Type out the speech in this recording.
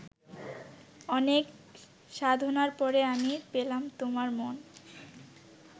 অনেক সাধনার পরে আমি পেলাম তোমার মন